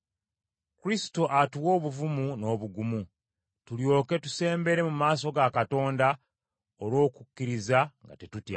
Kristo atuwa obuvumu n’obugumu, tulyoke tusembere mu maaso ga Katonda olw’okukkiriza nga tetutya.